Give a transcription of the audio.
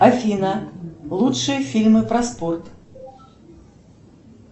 афина лучшие фильмы про спорт